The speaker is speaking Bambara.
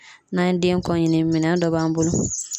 N'an ye den kɔ ɲini minɛn dɔ b'an bolo